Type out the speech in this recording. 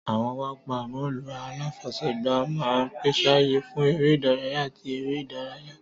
Àwọn pápá bọ́ọ̀lù aláfọwọ́gbá máa ń pèsè ààyè fún eré ìdárayá àti eré ìdárayá.